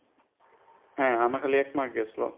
হ্যাঁ আমার খালি এক mark গেছিল।